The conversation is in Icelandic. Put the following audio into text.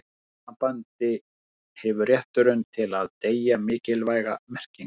í því sambandi hefur rétturinn til að deyja mikilvæga merkingu